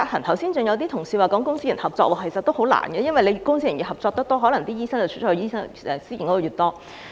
剛才更有同事提出公私營合作，其實也很困難，因為公私營合作越多，醫生流向私營系統的可能便越大。